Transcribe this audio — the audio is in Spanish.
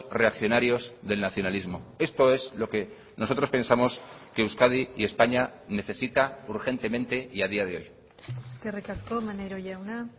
reaccionarios del nacionalismo esto es lo que nosotros pensamos que euskadi y españa necesita urgentemente y a día de hoy eskerrik asko maneiro jauna